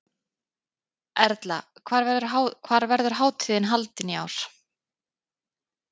Erla, hvar verður hátíðin haldin í ár?